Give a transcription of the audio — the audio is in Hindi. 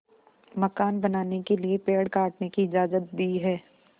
मकान बनाने के लिए पेड़ काटने की इजाज़त दी है